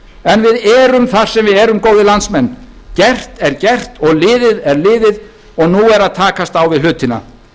en við erum þar sem við erum góðir landsmenn gert er gert og liðið er liðið og nú er að takast á við hlutina